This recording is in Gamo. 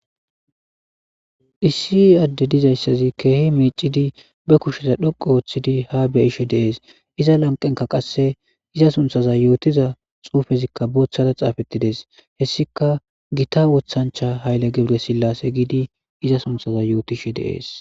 Issi adde dizayssazi keehi meicidi be kusheza dhoqo ooththidi ha beyishe deees iza lanqenka qasse iza sunthaza yootiza xuufezikka booththada xaafettides hessika gita woththancha hayle gebre sillase giidi iza sunthaza yootishe deees.